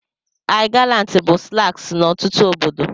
I gallant bụ slangs n'ọtụtụ obodo